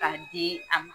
K'a di a ma